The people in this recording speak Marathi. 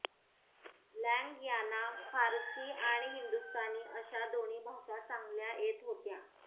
लँग यांना फारसी आणि हिंदुस्तानी अशा दोन्ही भाषा चांगल्या येत होत्या